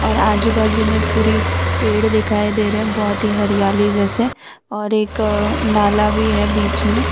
और आजू बाजू में पूरी पेड़ दिखाई दे रहे हैं बहोत ही हरियाली जैसे और एक नाला भी है बीच में।